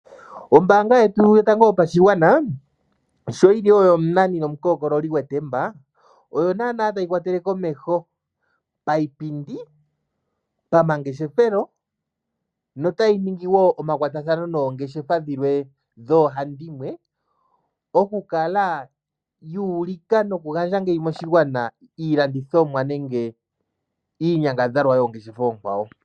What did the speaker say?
Ombaanga yetu yotango yopashigwana, osho yiliwo omunani nomukokololi gwetemba, oyo naana tayi kwatele komeho payipindi, pamangeshefelo notayi ningi wo omakwatathano noongeshefa dhilwe dhoohandimwe okukala yuulika nokugandja ngeyi moshigwana iilandithomwa nenge iinyangadhalwa yoongeshefa oonkwawo.